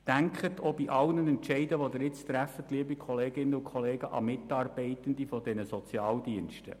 Denken Sie bei allen Entscheiden, die Sie jetzt treffen, liebe Kolleginnen und Kollegen, an die Mitarbeitenden der Sozialdienste.